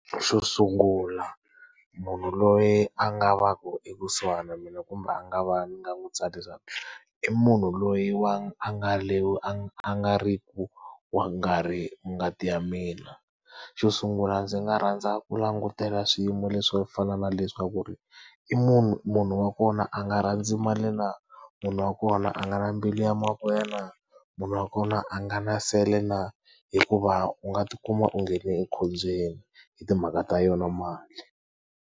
Xo sungula munhu loyi a nga va ku ekusuhana na mina kumbe a nga va ni nga n'wi tsarisa i munhu loyi wa a nga a a nga ri ku wa ngati ya mina. Xo sungula ndzi nga rhandza ku langutela swiyimo leswi swo fana na leswaku ku ri, i munhu munhu wa kona a nga rhandzi mali na? Munhu wa kona a nga na mbilu ya mavoya na? Munhu wa kona a nga na nsele na, hikuva u nga ti kuma u nghene ekhombyeni hi timhaka ta yona mali.